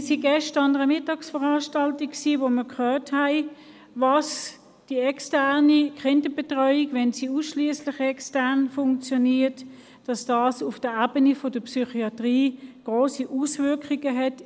Wir waren gestern an einer Mittagsveranstaltung, wo wir gehört haben, dass die externe Kinderbetreuung, wenn sie ausschliesslich extern funktioniert, auf der Ebene der Psychiatrie grosse Auswirkungen hat.